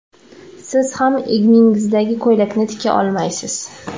Siz ham egningizdagi ko‘ylakni tika olmaysiz.